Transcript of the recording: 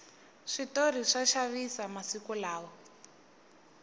switori swa xavisa masiku lawa